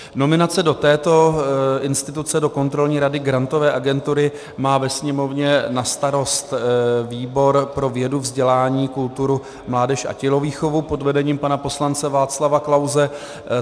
Nominace do této instituce, do Kontrolní rady Grantové agentury, má ve Sněmovně na starost výbor pro vědu, vzdělání, kulturu, mládež a tělovýchovu pod vedením pana poslance Václava Klause.